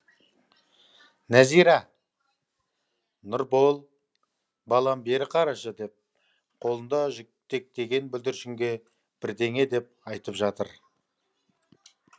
нәзира нұрбол балам бері қарашы деп қолында жетектеген бүлдіршінге бірдеңе деп айтып жатыр